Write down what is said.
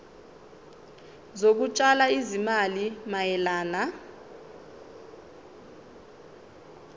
zokutshala izimali mayelana